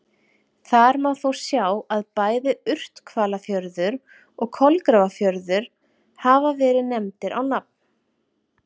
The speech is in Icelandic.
Þar má þó sjá að bæði Urthvalafjörður og Kolgrafafjörður hafa verið nefndir á nafn.